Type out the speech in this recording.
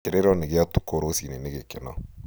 Kĩrĩro nĩ gia ũtukũ rũcinĩ nĩ gĩkeno